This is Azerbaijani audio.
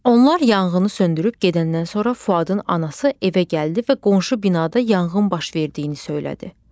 Onlar yanğını söndürüb gedəndən sonra Fuadın anası evə gəldi və qonşu binada yanğın baş verdiyini söylədi.